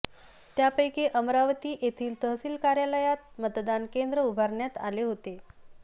त्यापैकी अमरावती येथील तहसील कार्यालयात मतदान केंद्र उभारण्यात आले होते